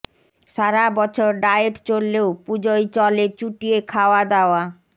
সারা বছর ডায়েট চললেও পুজোয় চলে চুটিয়ে খাওয়া দাওয়া